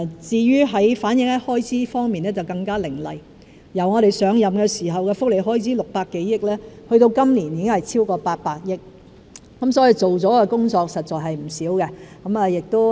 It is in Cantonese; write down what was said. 至於反映在開支方面更加凌厲，我們上任時的福利開支是600多億元，到今年已經是超過800億元，做了的工作實在是不少的。